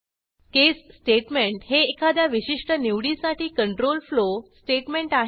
केस statement हे एखाद्या विशिष्ट निवडीसाठी कंट्रोल फ्लो स्टेटमेंट आहे